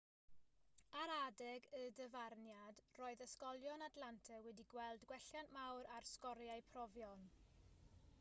ar adeg y dyfarniad roedd ysgolion atlanta wedi gweld gwelliant mawr ar sgoriau profion